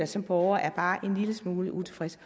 som borger er bare en lille smule utilfreds